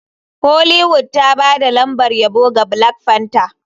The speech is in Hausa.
Hollywood ta ba da lambar yabo ga black panther.